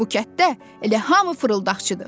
Bu kənddə elə hamı fırıldaqçıdır.